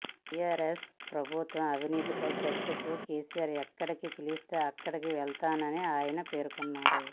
TRS ప్రభుత్వ అవినీతిపై చర్చకు కెసిఆర్ ఎక్కడికి పిలిస్తే అక్కడికి వెళుతానని ఆయన పేర్కొన్నారు